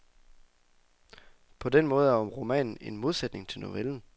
På den måde er romanen en modsætning til novellen.